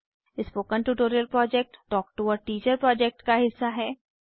spoken tutorial project talk to a teacher project का हिस्सा है